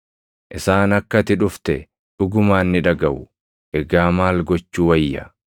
Isaan akka ati dhufte dhugumaan ni dhagaʼu; egaa maal gochuu wayya?